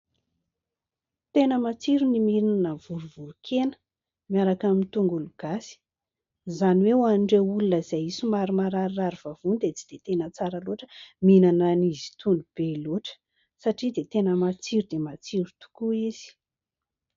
Tena matsiro ny mihinana vorovoron-kena miaraka amin'ny tongolo gasy. Izany hoe ho an'ireo olona izay somary mararirary vavony dia tsy dia tena tsara loatra ny mihinana azy itony be loatra satria tena matsiro dia matsiro tokoa izy.